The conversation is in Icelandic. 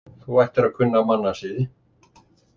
Þú ættir að kunna mannasiði